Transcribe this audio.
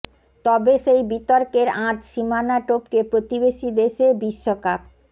তবে সেই বিতর্কের আঁচ সীমানা টপকে প্রতিবেশী দেশে বিশ্বকাপ